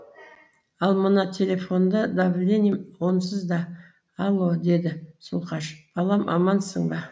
ал мына телефонды давлением онсыз да алло деді зұлқаш балам амансың ба